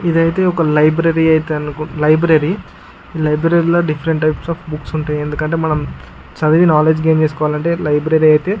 ఇదైతే ఒక లైబ్రరీ అయితే అనుకున్ లైబ్రరీ లైబ్రరీలో డిఫరెంట్ టైప్స్ ఆఫ్ బుక్స్ ఉంటాయి. ఎందుకంటే మనం చదివి నాలెడ్జ్ గేన్ చేసుకోవాలంటే లైబ్రరీ అయితే --